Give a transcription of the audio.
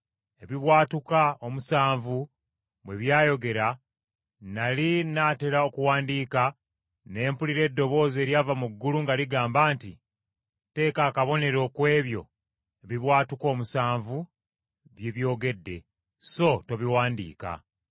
Ebibwatuka omusanvu bwe byayogera, nnali n’atera okuwandiika, ne mpulira eddoboozi eryava mu ggulu nga ligamba nti, “Teeka akabonero ku ebyo ebibwatuka omusanvu bye byogedde, so tobiwandiika.”